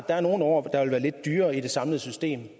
der er nogle år der vil være lidt dyrere i det samlede system